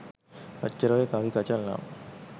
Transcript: ඔච්චර ඔය කවි කචල් නම්